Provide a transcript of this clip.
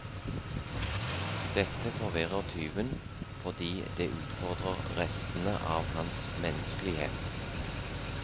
Dette forvirrer tyven, fordi det utfordrer restene av hans menneskelighet.